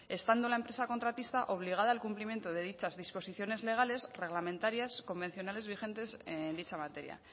estando la empresa contratista obligada al cumplimiento de dichas disposiciones legales reglamentarias convencionales vigentes en dicha materia